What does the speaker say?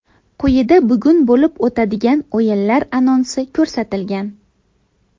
Quyida bugun bo‘lib o‘tadigan o‘yinlar anonsi ko‘rsatilgan.